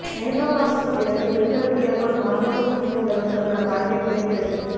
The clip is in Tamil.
மெனோபாசுக்குப் பிறகு பெண்களுக்கு ஏற்படும் மார்பக புற்றுநோய் வருவதற்கான வாய்ப்பை குறைக்கிறது